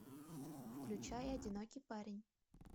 включай одинокий парень